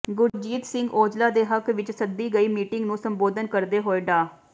ਗੁਰਜੀਤ ਸਿੰਘ ਔਜਲਾ ਦੇ ਹੱਕ ਵਿਚ ਸੱਦੀ ਗਈ ਮੀਟਿੰਗ ਨੂੰ ਸੰਬੋਧਨ ਕਰਦੇ ਹੋਏ ਡਾ